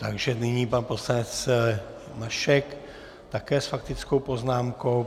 Takže nyní pan poslanec Mašek, také s faktickou poznámkou.